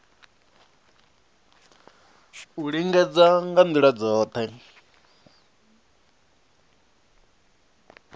u lingedza nga ndila dzothe